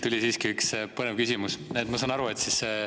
Tuli siiski üks põnev küsimus.